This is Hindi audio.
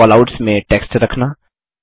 कैलआउट्स में टेक्स्ट रखना